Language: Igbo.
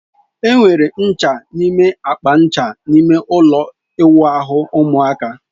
Enwere ncha n'ime akpa ncha ime ụlọ ịwụ ahu ụmụaka.